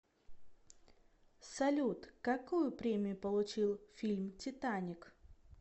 салют какую премию получил фильм титаник